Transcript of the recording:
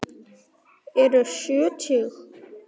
Ertu sjötug?